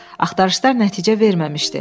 Axtarışlar nəticə verməmişdi.